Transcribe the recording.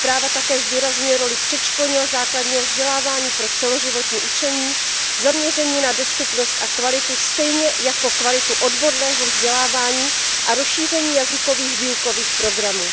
Zpráva také zdůrazňuje roli předškolního a základního vzdělávání pro celoživotní učení, zaměření na dostupnost a kvalitu, stejně jako kvalitu odborného vzdělávání a rozšíření jazykových výukových programů.